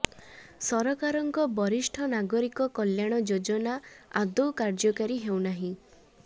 ସରକାରଙ୍କ ବରିଷ୍ଠ ନାଗରିକ କଲ୍ୟାଣ ଯୋଜନା ଆଦୌ କାର୍ଯ୍ୟକାରୀ ହେଉନାହିଁ